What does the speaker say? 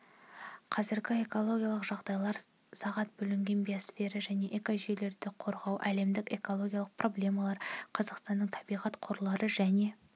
қазіргі экологиялық жағдайлар сағат бөлінген биосфера және экожүйелерді қорғау әлемдік экологиялық проблемалар қазақстанның табиғат қорлары және